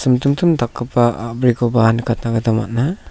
dakgipa a·brikoba nikatna gita man·a.